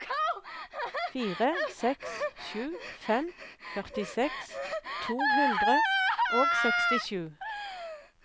fire seks sju fem førtiseks to hundre og sekstisju